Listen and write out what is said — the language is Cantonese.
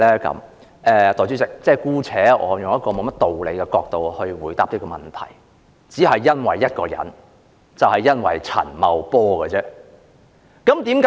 代理主席，我姑且從沒有甚麼道理的角度來回答這個問題，只是因為一個人，就是陳茂波。